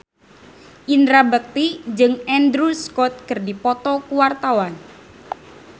Indra Bekti jeung Andrew Scott keur dipoto ku wartawan